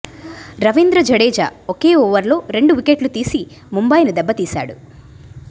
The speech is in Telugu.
రవీంద్ర జడేజా ఒకే ఓవర్లో రెండు వికెట్లు తీసి ముంబైని దెబ్బతీశాడు